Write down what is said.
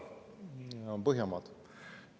Need on Põhjamaad.